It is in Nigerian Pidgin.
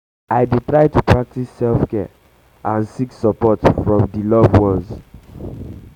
i dey try to practice self-care and seek and seek support from di loved ones.